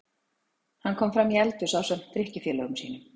Hann kom framí eldhús ásamt drykkjufélögum sínum.